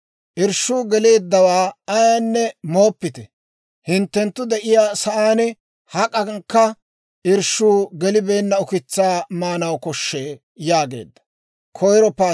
Irshshuu geleeddawaa ayaanne mooppite; hinttenttu de'iyaa sa'aan hak'ankka irshshuu gelibeenna ukitsaa maanaw koshshee» yaageedda.